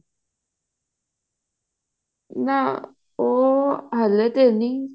ਮੈਂ ਉਹ ਹਲੇ ਤੇ ਨੀ